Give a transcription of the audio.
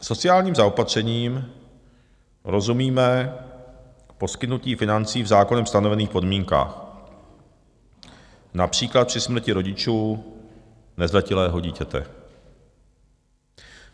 Sociálním zaopatřením rozumíme poskytnutí financí v zákonem stanovených podmínkách, například při smrti rodičů nezletilého dítěte.